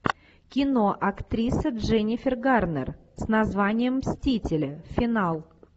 кино актриса дженнифер гарнер с названием мстители финал